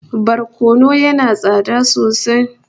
Barkono yana tsada sosai